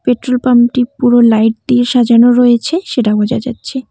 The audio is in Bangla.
পেট্রোল পাম্প টি পুরো লাইট দিয়ে সাজানো রয়েছে সেটা বোঝা যাচ্ছে।